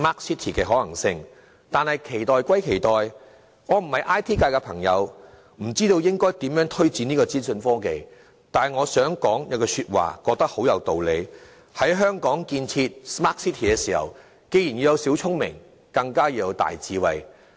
市民當然有所期待，我並非 IT 界人士，不知道應如何推展資訊科技。但業界有一句話，我認為很有道理：在香港建設 Smart City， 既要有小聰明，更要有大智慧。